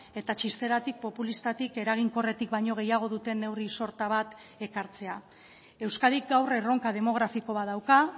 eta txisteratik populistatik eraginkorretik baino gehiago duten neurri sorta bat ekartzea euskadik gaur erronka demografiko bat dauka